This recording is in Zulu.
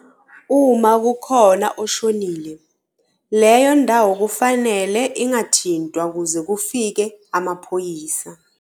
Uma kukhona oshonile, leyo ndawo kufanele ingathintwa kuze kufike emaphoyisa.